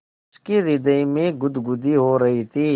उसके हृदय में गुदगुदी हो रही थी